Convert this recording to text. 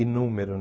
inúmero, né?